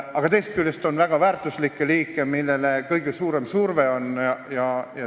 Aga teisest küljest on väga väärtuslikke liike, millele on kõige suurem surve.